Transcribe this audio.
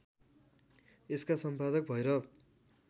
यसका सम्पादक भैरव